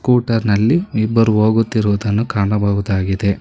ಕೂಟರ್ ನಲ್ಲಿ ಇಬ್ಬರು ಹೋಗುತ್ತಿರುವುದನ್ನು ಕಾಣಬಹುದಾಗಿದೆ.